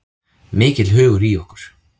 Mikill hugur í okkur